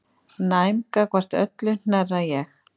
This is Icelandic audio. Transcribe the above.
Næm gagnvart öllu hnerra ég.